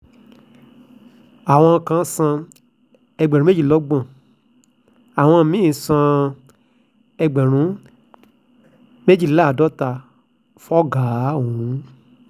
àwọn kan san ẹgbẹ̀rún méjìlélọ́gbọ̀n àwọn mí-ín sì san ẹgbẹ̀rún méjìléláàádọ́ta fọ́gàá ọ̀hún